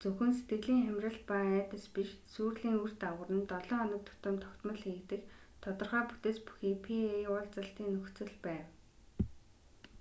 зөвхөн сэтгэлийн хямрал ба айдас биш сүйрлийн үр дагавар нь долоо хоног тутам тогтмол хийгдэх тодорхой бүтэц бүхий pa уулзалтын нөхцөл байв